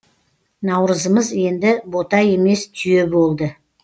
наурызымыз енді бота емес түйе болды